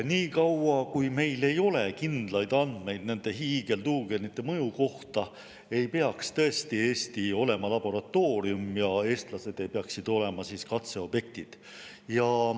Nii kaua, kui meil ei ole kindlaid andmeid nende hiigeltuugenite mõju kohta, ei peaks tõesti Eesti olema laboratoorium ja eestlased ei peaks olema katseobjektid.